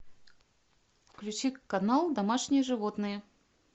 включи канал домашние животные